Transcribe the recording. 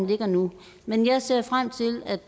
ligger nu men jeg ser frem til at